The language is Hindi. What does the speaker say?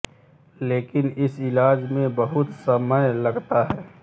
लेकिन इस इलाज में बहुत समय लगता है